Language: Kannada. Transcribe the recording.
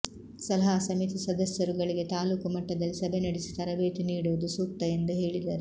ಸಲಹಾ ಸಮಿತಿ ಸದಸ್ಯರುಗಳಿಗೆ ತಾಲೂಕು ಮಟ್ಟದಲ್ಲಿ ಸಭೆ ನಡೆಸಿ ತರಬೇತಿ ನೀಡುವುದು ಸೂಕ್ತ ಎಂದು ಹೇಳಿದರು